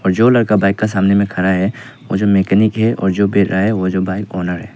और जो लड़का बाइक का सामने में खड़ा है वो जो मेकेनिक है और जो बैठ रहा है वो जो बाइक ऑनर है।